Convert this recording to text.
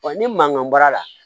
ni mankan baara la